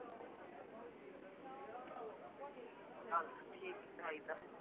ਕਲ ਠੀਕ ਚਾਇਦਾ